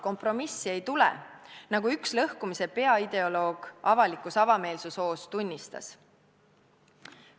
Kompromissi ei tule, nagu üks lõhkumise peaideoloog avalikus avameelsushoos tunnistas.